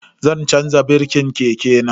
Zan chanza birkin keke na.